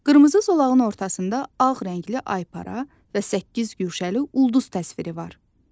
Qırmızı zolağın ortasında ağ rəngli aypara və səkkiz güşəli ulduz təsviri var.